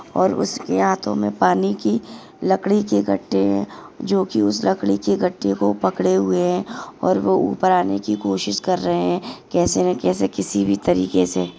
और उसके हाथो मे पानी की लकड़ी के गट्टे है जो की उस लकड़ी के गट्टे को पकड़े हुए है और वो उपर आने की कोशिश कर रहे है कैसे न कैसे किसी भी तरीके से --